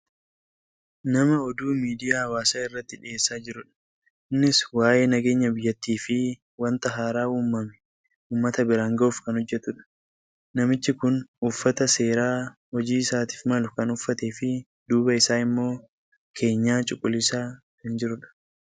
Nama oduu miidiyaa hawaasaa irratti dhiyeessaa jirudha. Innis waa'ee nageenya biyyattiifi wanta haaraa uumame uummata biraan gahuuf kan hojjatudha. Namichi kun uffata seeraa hojii isaatiif malu kan uffateefi duuba isaa immoo keenyaa cuquliisa kan jirudha.